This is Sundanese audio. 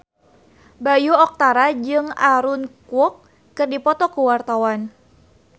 Bayu Octara jeung Aaron Kwok keur dipoto ku wartawan